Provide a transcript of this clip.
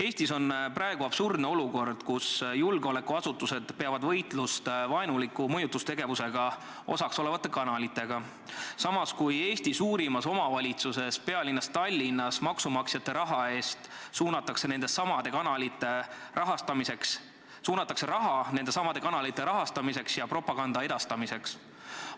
Eestis on praegu absurdne olukord, kus julgeolekuasutused peavad võitlust vaenulikus mõjutustegevuses osalevate kanalitega, samas kui Eesti suurimas omavalitsuses, pealinnas Tallinnas suunatakse maksumaksjate raha nendesamade kanalite rahastamiseks ja propaganda edastamiseks.